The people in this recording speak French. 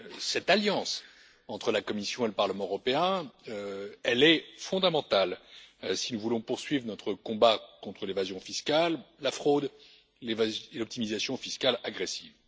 Cette alliance entre la Commission et le Parlement européen, elle est fondamentale si nous voulons poursuivre notre combat contre l'évasion fiscale, la fraude et l'optimisation fiscale agressive.